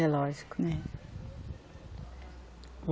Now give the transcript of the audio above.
É lógico, né?